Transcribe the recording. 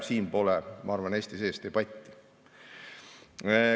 Siin pole, ma arvan, Eesti sees debatti.